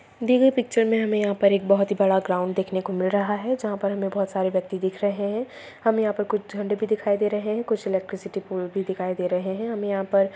दी गई पिक्चर में हमे यहाँ पर एक बहुत ही बड़ा ग्राउन्ड देखने को मिल रहा है जहाँ पर हमे बहुत सारे व्यक्ति दिख रहे है हमे यहाँ पर कुछ झंडे भी दिखाई दे रहे है कुछ एलेक्ट्रिसिटी पोल भी दिखाई दे रहे है हमे यहाँ पर--